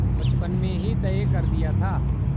बचपन में ही तय कर दिया था